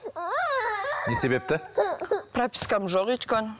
не себепті пропискам жоқ өйткені